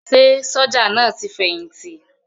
Ṣé sójà náà ti fẹ̀yìntì?